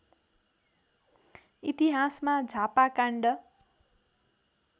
इतिहासमा झापा काण्ड